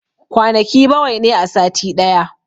Kwanaki bawai ne a sati daya